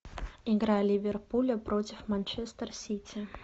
игра ливерпуля против манчестер сити